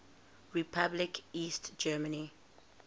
republic east germany